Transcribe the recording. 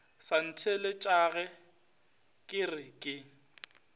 sa ntheeletšage ke re ke